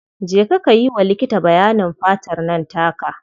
Je ka yi wa likiti bayanin fatar nan taka.